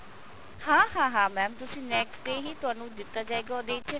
ਹਾਂ ਹਾਂ mam ਤੁਸੀਂ next day ਹੀ ਤੁਹਨੂੰ ਦਿੱਤਾ ਜਾਏਗਾ ਉਹਦੇ ਚ